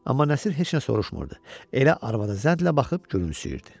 Amma Nəsir heç nə soruşmurdu, elə arvada zənlə baxıb gülümsüyürdü.